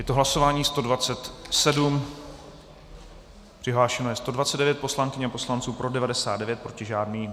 Je to hlasování 127, přihlášeno je 129 poslankyň a poslanců, pro 99, proti žádný.